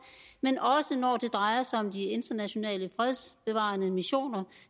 men også når det drejer sig om de internationale fredsbevarende missioner